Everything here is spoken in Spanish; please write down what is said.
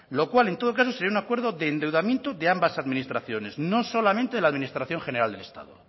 lo cual en todo caso sería un acuerdo de endeudamiento de ambas administraciones no solamente de la administración general del estado